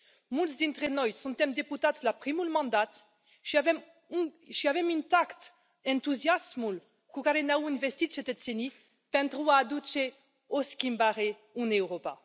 Mulți dintre noi suntem deputați la primul mandat și avem intact entuziasmul cu care ne au învestit cetățenii pentru a aduce o schimbare în Europa.